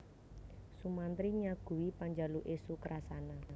Sumantri nyaguhi panjaluke Sukrasana